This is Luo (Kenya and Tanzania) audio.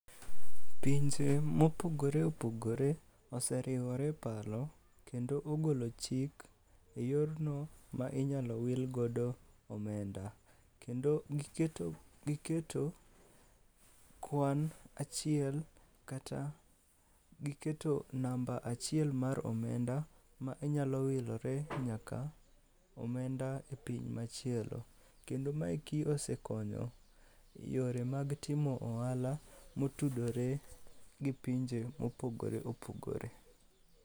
Pinje mopogore opogore oseriwore e paro kendo ogolo chik e yorno ma inyalo wilgodo omenda. Kendo giketo kwan achiel kata giketo namba achiel mar omenda ma inyalo wilore nyaka omenda e piny machielo. Kendo maeki osekonyo e yore mag timo ohala motudore gi pinje mopogore opogore.